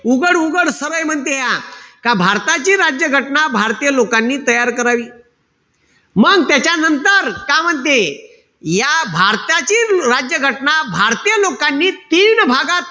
उघड-उघड सरळ म्हनतेया, का भारताची राज्य घटना भारतीय लोकांनी तयार करावी. मंग त्याच्यानंतर का म्हणते, या भारतातील राज्य घटना भारतीय लोकांनी, तीन भागात